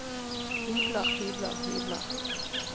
hybler hybler hybler